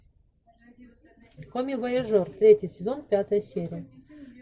комивояжер третий сезон пятая серия